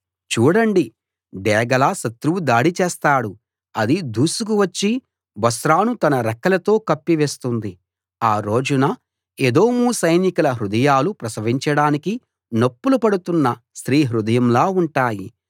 చూడండి డేగలా శత్రువు దాడి చేస్తాడు అది దూసుకు వచ్చి బొస్రాను తన రెక్కలతో కప్పివేస్తుంది ఆ రోజున ఏదోము సైనికుల హృదయాలు ప్రసవించడానికి నొప్పులు పడుతున్న స్త్రీ హృదయంలా ఉంటాయి